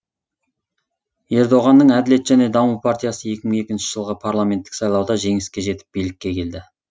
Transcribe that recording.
ердоғанның әділет және даму партиясы екі мың екінші жылғы парламенттік сайлауда жеңіске жетіп билікке келді